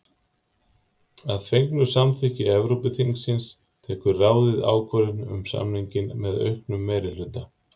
Að fengnu samþykki Evrópuþingsins tekur ráðið ákvörðun um samninginn með auknum meirihluta.